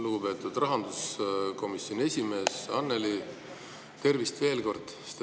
Lugupeetud rahanduskomisjoni esimees Annely, tervist veel kord!